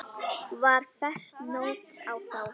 Var fest nót á þá.